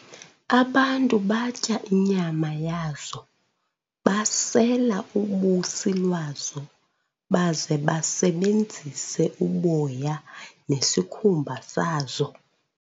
Abantu batya inyama yazo, basela ubusi lwazo, baze basebenzise uboya nesikhumba sazo.